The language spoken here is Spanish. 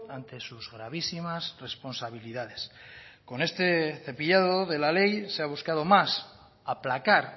ante sus gravísimas responsabilidades con este cepillado de la ley se ha buscado más aplacar